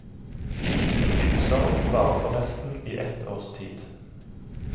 En dyp sorg varer forresten i ett års tid.